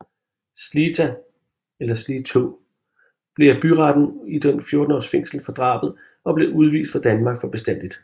Clită blev af byretten idømt 14 års fængsel for drabet og blev udvist fra Danmark for bestandigt